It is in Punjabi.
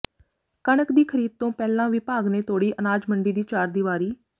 ਕਣਕ ਦੀ ਖਰੀਦ ਤੋਂ ਪਹਿਲਾਂ ਵਿਭਾਗ ਨੇ ਤੋੜੀ ਅਨਾਜ ਮੰਡੀ ਦੀ ਚਾਰ ਦਿਵਾਰੀ